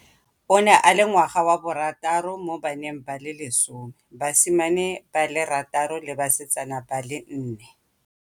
O ne a le ngwaga wa borataro mo baneng ba le lesome, basimane ba le rataro le basetsana ba le nne.